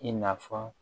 I na fɔ